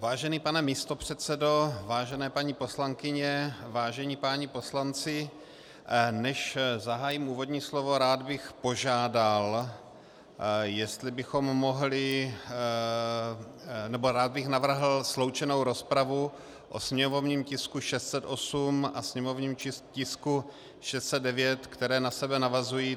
Vážený pane místopředsedo, vážené paní poslankyně, vážení páni poslanci, než zahájím úvodní slovo, rád bych požádal, jestli bychom mohli - nebo rád bych navrhl sloučenou rozpravu o sněmovním tisku 608 a sněmovním tisku 609, které na sebe navazují.